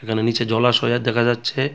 এখানে নীচে জলাশয়া দেখা যাচ্ছে.